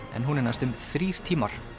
en hún er næstum þrír tímar